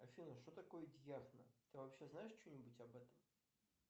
афина что такое дьяхна ты вообще знаешь че нибудь об этом